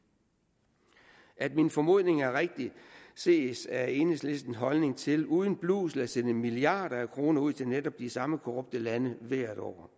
at min formodning er rigtig ses af enhedslistens holdning til uden blusel at sende milliarder af kroner ud til netop de samme korrupte lande hvert år